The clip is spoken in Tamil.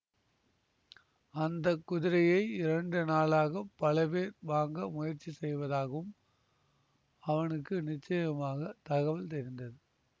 அந்த குதிரையை இரண்டு நாளாகப் பல பேர் வாங்க முயற்சி செய்வதாகவும் அவனுக்கு நிச்சயமாகத் தகவல் தெரிந்தது